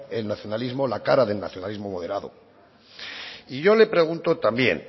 el nacionalismo la cara del nacionalismo moderado y yo le pregunto también